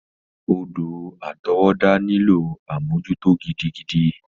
Odò àtọwọ́dá nílò àmójútó gidigidi.